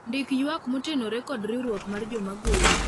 ndik ywak motenore kod riwruok mar joma goro